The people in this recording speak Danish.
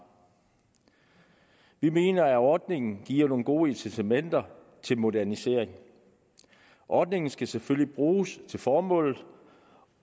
vi mener at ordningen giver nogle gode incitamenter til modernisering ordningen skal selvfølgelig bruges til formålet